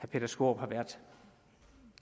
peter skaarup har været